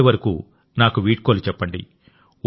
అప్పటి వరకు నాకు వీడ్కోలు చెప్పండి